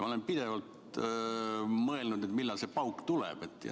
Ma olen tihti mõelnud, millal see pauk tuleb.